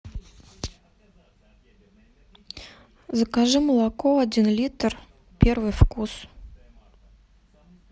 закажи молоко один литр первый вкус